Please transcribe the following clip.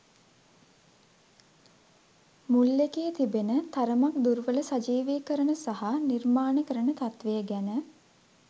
මුල් එකේ තිබෙන තරමක් දුර්වල සජීවීකරණ සහ නිර්මාණකරණ තත්ත්වය ගැන